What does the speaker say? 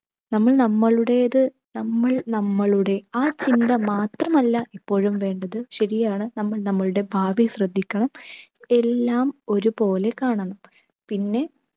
നമ്മൾ നമ്മളുടേത് നമ്മൾ നമ്മളുടേ ആ ചിന്ത മാത്രമല്ല ഇപ്പോഴും വേണ്ടത്. ശരിയാണ് നമ്മൾ നമ്മളുടെ ഭാവി ശ്രദ്ദിക്കണം. എല്ലാം ഒരുപോലെ കാണണം. പിന്നെ